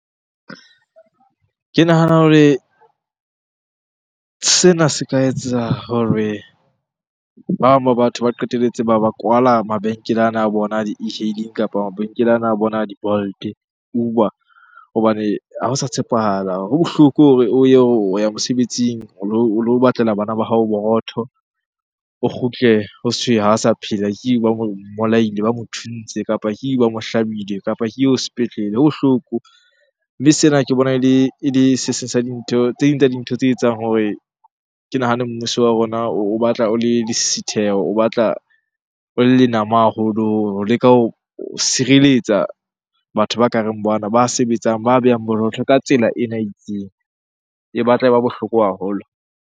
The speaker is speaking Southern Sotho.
Ke nahana hore sena se ka etsa hore ba, ba batho ba qetelletse ba ba kwala mabenkele ana a bona a di e_hailing kapa mabenkeleng ana a bona a di-Bolt, Uber hobane ha o sa tshepahala. Ho bohloko hore o ye o ya mosebetsing o lo batlela bana ba hao borotho. O kgutle ha sa phela. Ke oo bolaile, ba mo thuntse, kapa ke oo ba mo hlabile, kapa ke eo sepetlele, e bohloko. Mme sena ke bona ele se seng sa dintho, tse ding tsa dintho tse etsang hore ke nahane mmuso wa rona o batla o le lesisitheho o batla o le lenama haholo ho leka ho sireletsa batho ba ka reng bana. Ba sebetsang, ba behang ka tsela ena e itseng. E batla e ba bohloko haholo.